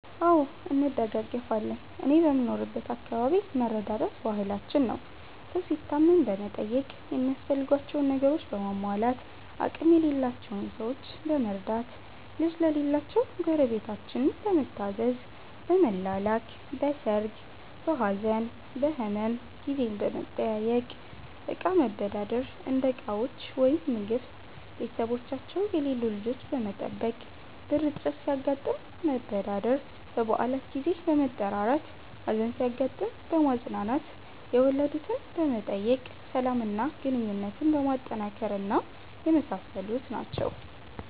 አዎ እንደጋገፋለን እኔ በምኖርበት አከባቢ መረዳዳት ባህላችን ነው። ሠው ሲታመም በመጠየቅ ሚያስፈልጋቸውን ነገሮችን በማሟላት፣ አቅም የሌላቸውን ሠዎች በመርዳት፣ ልጅ ለሌላቸው ጎረቤታችን በመታዘዝ፣ በመላላክ፣ በሠርግ፣ በሀዘን፣ በህመም ጊዜ በመጠያየቅ፣ እቃ መበዳደር (እንደ ዕቃዎች ወይም ምግብ)፣ቤተሠቦቻቸው የሌሉ ልጆች በመጠበቅ፣ ብር እጥረት ሲያጋጥም መበዳደር፣ በበአላት ጊዜ በመጠራራት፣ ሀዘን ሲያጋጥም በማፅናናት፣ የወለድትን በመጠየቅ፣ ሠላም እና ግንኙነትን በማጠናከር እና የመሣሠሉት ናቸው።